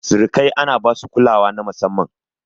Surikai ana basu kulawa ta musamman.